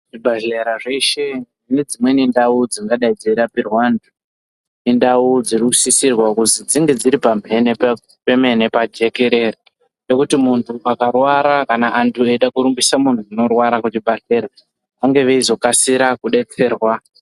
Zvibhedhleya zveshe nedzimweni ndau dzingadai dzeirapirwa antu indau dzirikusisirwa kuzi dzinge dziri pamhene pemene pajekerere, nekuti muntu akarwara kana vantu veida kurumbisa munhu unorwara kuzvibhedhleya vahambe veizokasira kudetserwa.